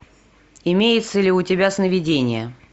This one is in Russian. имеется ли у тебя сновидения